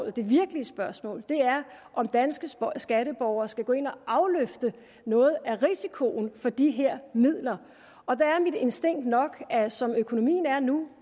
er det virkelige spørgsmål er om danske skatteborgere skal gå ind og afløfte noget af risikoen for de her midler og der er mit instinkt nok at som økonomien er nu